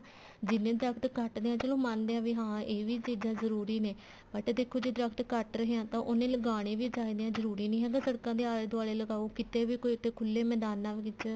ਜਿੰਨੇ ਦਰਖਤ ਕੱਟਦੇ ਹਾਂ ਚਲੋ ਮੰਨਦੇ ਹਾਂ ਵੀ ਇਹ ਵੀ ਚੀਜ਼ਾਂ ਜਰੂਰੀ ਨੇ but ਦੇਖੋ ਜੇ ਦਰਖਤ ਕੱਟ ਰਹੇ ਹਾਂ ਉੰਨੇ ਲਗਾਉਣੇ ਵੀ ਚਾਹੀਦੇ ਨੇ ਜਰੂਰੀ ਨੀ ਹੈਗਾ ਸੜਕਾਂ ਦੇ ਆਲੇ ਦਵਾਲੇ ਲਗਾਉ ਕਿਤੇ ਵੀ ਕੋਈ ਖੁੱਲੇ ਮੈਦਾਨਾ ਵਿੱਚ